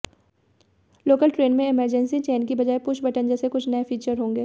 local train में emergency chain की बजाय पुश बटन जैसे कुछ नए फीचर होंगे